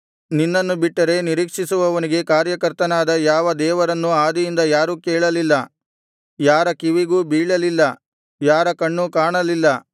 ನಿನ್ನನ್ನು ಬಿಟ್ಟರೆ ನಿರೀಕ್ಷಿಸುವವನಿಗೆ ಕಾರ್ಯಕರ್ತನಾದ ಯಾವ ದೇವರನ್ನೂ ಆದಿಯಿಂದ ಯಾರೂ ಕೇಳಲಿಲ್ಲ ಯಾರ ಕಿವಿಗೂ ಬೀಳಲಿಲ್ಲ ಯಾರ ಕಣ್ಣೂ ಕಾಣಲಿಲ್ಲ